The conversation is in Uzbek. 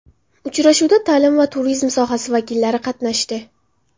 Uchrashuvda ta’lim va turizm sohasi vakillari qatnashdi.